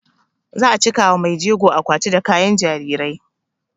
Za a cika wa maijegon akwati da kayan jarirai